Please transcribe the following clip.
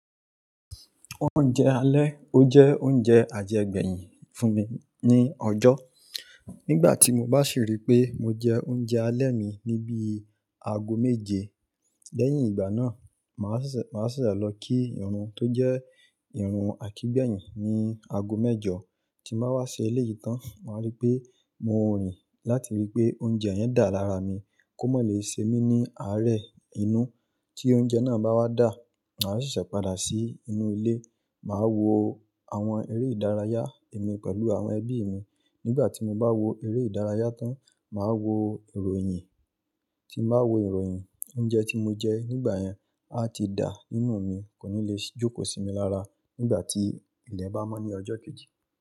Oúnjẹ alẹ́, ó jẹ́ oúnjẹ àjẹgbẹ̀yìn fún mi ní ọjọ́. Nígbà tí mo bá sì rí pé mo jẹ oúnjẹ alẹ́ mi níbi aago méje, lẹ́yìn ìgbà náà, màá sìsẹ̀ lọ kí irun tó jẹ́ irun àkígbẹ̀yìn ní aago mẹ́jọ. Tí mo bá wá se elé yìí tán, màá rí pé mo ń rìn láti rí pé oúnjẹ yẹn dà lára mi kó mọ́ lè ṣe mí ní àárẹ̀ inú. Tí oúnjẹ náà bá wá dà, màá sìsẹ̀ padà sí inú ilé, màá wo àwọn eré ìdárayá mi pẹ̀lú àwọn ẹbí mi. Nígbà tí mo bá wo eré ìdárayá tán, màá wo ìròyìn. Tí mo bá wo ìròyìn, oúnjẹ tí mo jẹ nígbà yẹn á ti dà nínú mi, kò ní lè jókòó sí mi lára nígbà tí ilẹ̀ bá mọ́ ní ọjọ́ kejì.